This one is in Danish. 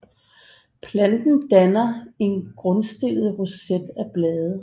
Planten danner en grundstillet roset af blade